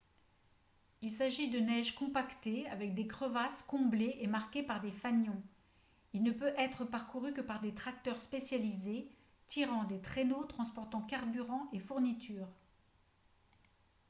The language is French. il s'agit de neige compactée avec des crevasses comblées et marquées par des fanions il ne peut être parcouru que par des tracteurs spécialisés tirant des traîneaux transportant carburant et fournitures